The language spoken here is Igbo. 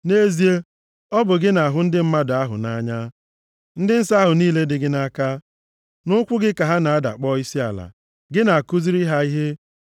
Nʼezie, ọ bụ gị na-ahụ ndị mmadụ ahụ nʼanya, ndị nsọ ahụ niile dị gị nʼaka. Nʼụkwụ gị ka ha na-ada kpọọ isiala, gị na-akụziri ha ihe,